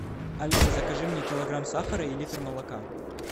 алиса закажи мне килограмм сахара и литр молока